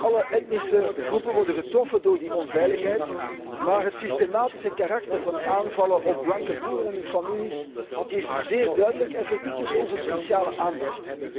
Alle etnische groepen worden getroffen door die onveiligheid, maar het systematische karakter van aanvallen op blanke boerenfamilies is zeer duidelijk en verdient dus onze speciale aandacht.